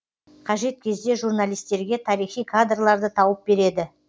қажет кезде журналистерге тарихи кадрларды тауып береді